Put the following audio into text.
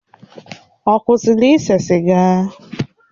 Ọ kwụsịla ise siga?